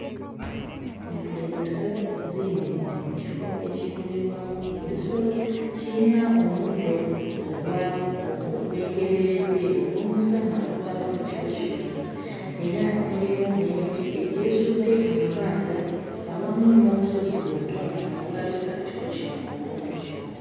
Entulege ssatu ziyimiridde mu kifo ekirundirwamu ebisolo. Kiyina omuddo ogwa ogwengereredde olw'omusana ogwaka mu kifo kino era mulimu n'emiti egyesudde amabanga awamu n'obusozi obutonotono obulabisa ekifo kino obulungi.